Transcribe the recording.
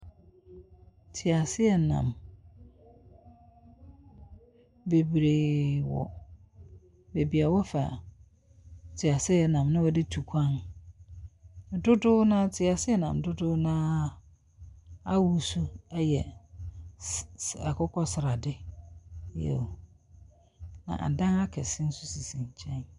Teaseɛnam bebree wɔ wɔfa teaseɛnam na wɔde tu kwan. Dodow no ara, teaseɛnam dodow no ara ahosu yɛ akokɔstade. Na adan akɛse nso sisi nkyɛn.